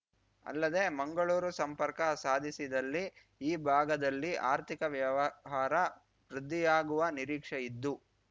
ಅಲ್ಲದೇ ಮಂಗಳೂರು ಸಂಪರ್ಕ ಸಾಧಿಸಿದಲ್ಲಿ ಈ ಭಾಗದಲ್ಲಿ ಆರ್ಥಿಕ ವ್ಯವಹಾರ ವೃದ್ಧಿಯಾಗುವ ನಿರೀಕ್ಷೆಯಿದ್ದು